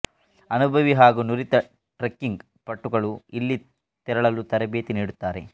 ಅನುಭವಿ ಹಾಗೂ ನುರಿತ ಟ್ರೆಕ್ಕಿಂಗ್ ಪಟುಗಳು ಇಲ್ಲಿ ತೆರಳಲು ತರಬೇತಿ ನೀಡುತ್ತಾರೆ